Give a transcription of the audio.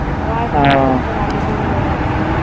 আবার কিছুক্ষন পর আলো জ্বললো, হম